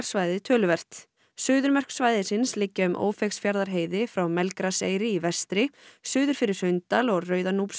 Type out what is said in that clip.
svæðið töluvert suðurmörk svæðisins liggja um Ófeigsfjarðarheiði frá Melgraseyri í vestri suður fyrir Hraundal og